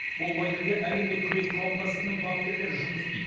бұл лагерьде әлемдік күрес қауымдастығының бапкерлері жұмыс істейді